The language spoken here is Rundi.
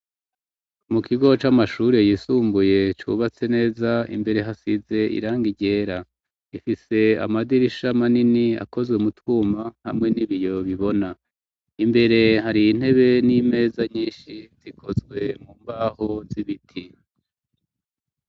Mu kigo c'amashuri yisumbuye cubatse neza, imbere hasize irangi ryera ifise amadirisha manini akozwe mu twuma hamwe n'ibiyo bibona, imbere hari intebe n'imeza nyinshi zikozwe mu mbaho z'ibiti.